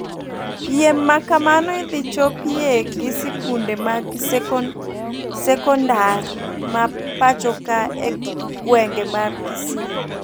Piem makamno idhi chopie gi sikunde mag seknadar ma pachoka e gwenge mar kisii